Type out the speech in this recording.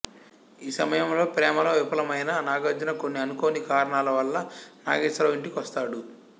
ఈ సమయంలో ప్రేమలో విఫలమైన నాగార్జున కొన్ని అనుకోని కారణాల వల్ల నాగేశ్వరరావు ఇంటికొస్తాడు